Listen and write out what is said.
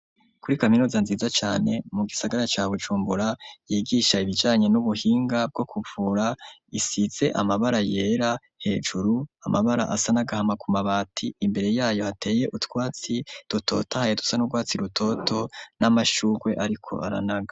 Kuri kaminuza nziza cane, mu gisagara ca Bujumbura, yigisha ibijanye n'ubuhinga bwo kuvura, isize amabara yera hejuru, amabara asa n'agahama ku mabati, imbere y'ayo hateye utwatsi dutotohaye dusa n'urwatsi rutoto n'amashugwe ariko aranaga.